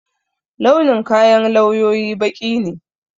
Launin kayan lawyoyi baƙi ne